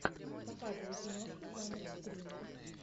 показывай киношку жанр скример